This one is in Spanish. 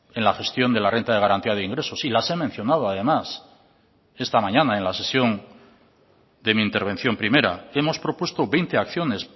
en la gestión de la renta de garantía de ingresos sí las he mencionado además esta mañana en la sesión de mi intervención primera hemos propuesto veinte acciones